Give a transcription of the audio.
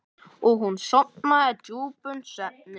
Og hún sofnaði djúpum svefni.